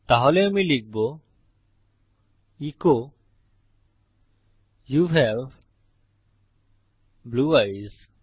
তাহলে আমি লিখব as you have blue ice